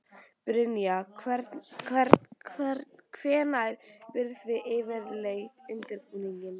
Brynja: Hvenær byrjið þið yfirleitt undirbúninginn?